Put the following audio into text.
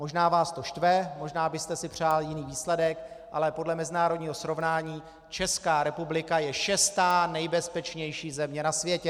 Možná vás to štve, možná byste si přál jiný výsledek, ale podle mezinárodního srovnání Česká republika je šestá nejbezpečnější země na světě!